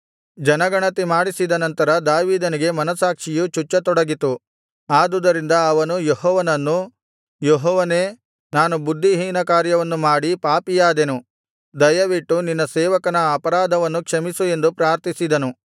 ಜನಗಣತಿ ಮಾಡಿಸಿದ ನಂತರ ದಾವೀದನಿಗೆ ಮನಸ್ಸಾಕ್ಷಿಯು ಚುಚ್ಚತೊಡಗಿತು ಆದುದರಿಂದ ಅವನು ಯೆಹೋವನನ್ನು ಯೆಹೋವನೇ ನಾನು ಬುದ್ಧಿಹೀನಕಾರ್ಯವನ್ನು ಮಾಡಿ ಪಾಪಿಯಾದೆನು ದಯವಿಟ್ಟು ನಿನ್ನ ಸೇವಕನ ಅಪರಾಧವನ್ನು ಕ್ಷಮಿಸು ಎಂದು ಪ್ರಾರ್ಥಿಸಿದನು